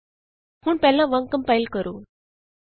ਹੁਣ ਪਹਿਲਾਂ ਵਾਂਗ ਕੰਪਾਇਲ ਕਰੋ